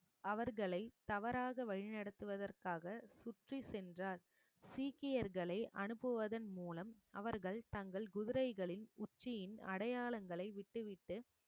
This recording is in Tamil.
அவர்களை தவறாக வழி நடத்துவதற்காக சுற்றி சென்றார் சீக்கியர்களை அனுப்புவதன் மூலம் அவர்கள் தங்கள் குதிரைகளின் உச்சியின் அடையாளங்களை விட்டுவிட்டு